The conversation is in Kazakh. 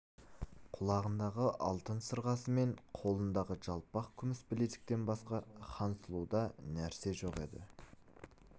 құлағындағы алтын сырғасы мен қолындағы жалпақ күміс білезіктен басқа хансұлуда нәрсе жоқ еді